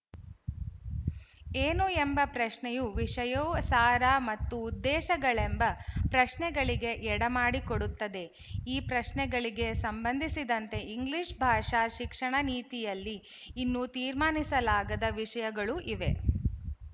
ಏನು ಎಂಬ ಪ್ರಶ್ನೆಯು ವಿಶಯಸಾರ ಮತ್ತು ಉದ್ದೇಶಗಳೆಂಬ ಪ್ರಶ್ನೆಗಳಿಗೆ ಎಡೆಮಾಡಿಕೊಡುತ್ತದೆ ಈ ಪ್ರಶ್ನೆಗಳಿಗೆ ಸಂಬಂಧಿಸಿದಂತೆ ಇಂಗ್ಲಿಶ ಭಾಷಾ ಶಿಕ್ಷಣ ನೀತಿಯಲ್ಲಿ ಇನ್ನೂ ತೀರ್ಮಾನಿಸಲಾಗದ ವಿಶಯಗಳು ಇವೆ